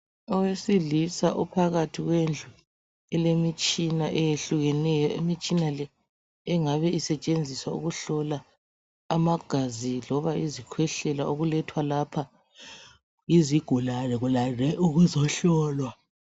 Owesilisa uphakathi kwendlu elemitshina eyehlukeneyo imitshina le engabe isetshenziswa ukuhlola amagazi loba zikhwehlela okulethwa lapha yizigulane kulande ukuzohlolwa.